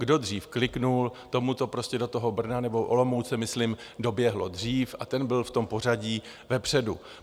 Kdo dřív kliknul, tomu to prostě do toho Brna nebo Olomouce myslím doběhlo dřív a ten byl v tom pořadí vepředu.